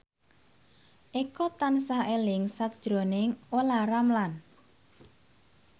Eko tansah eling sakjroning Olla Ramlan